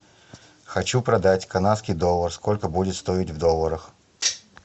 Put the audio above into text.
хочу продать канадский доллар сколько будет стоить в долларах